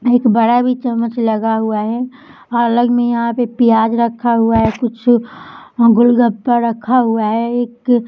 एक बड़ा भी चम्मच लगा हुआ है अलग मे यहाँ पे प्याज रखा हुआ है कुछ गोलगप्पा रखा हुआ है एक --